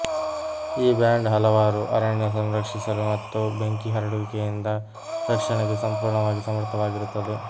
ಈ ಬ್ಯಾಂಡ್ ಹಲವಾರು ಅರಣ್ಯ ಸಂರಕ್ಷಿಸಲು ಮತ್ತು ಬೆಂಕಿ ಹರಡುವಿಕೆಯಿಂದ ರಕ್ಷಣೆಗೆ ಸಂಪೂರ್ಣವಾಗಿ ಸಮರ್ಥವಾಗಿರುತ್ತವೆ